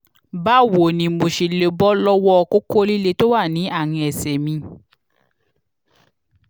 báwo ni mo ṣe lè bọ́ lọ́wọ́ kókó líle tó wà ní àárín ẹsẹ̀ mi?